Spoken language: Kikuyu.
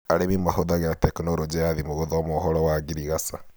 Arĩmi matũmagĩra tekinoronjĩ ya thimũ gũthoma ũhoro wa ngirigaca.